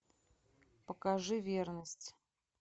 покажи верность